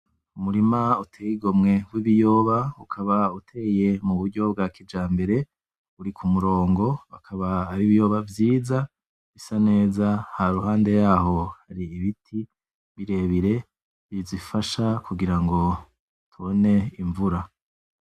Umurima uteye igomwe w'ibiyoba ukaba uteye m'uburyo bw'akijambere uri kumurongo, akaba ar'ibiyoba vyiza bisa neza haruhande yaho har'ibiti birebire bizifasha kugirango tubone imvura.